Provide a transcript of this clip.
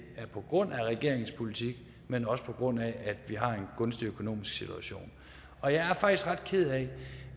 er på grund af regeringens politik men også på grund af at vi har en gunstig økonomisk situation og jeg er faktisk ret ked af